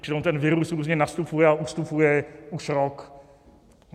Čili on ten virus různě nastupuje a ustupuje už rok.